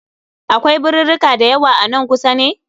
Akwai birirrika dayawa a nan kusa ne?